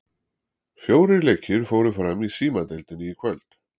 Fjórir leikir fóru fram í Símadeildinni í kvöld.